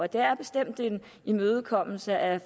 det er bestemt en imødekommelse af